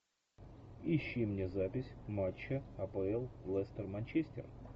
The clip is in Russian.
ищи мне запись матча апл лестер манчестер